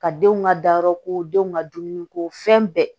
Ka denw ka dayɔrɔ ko denw ka dumuni ko fɛn bɛɛ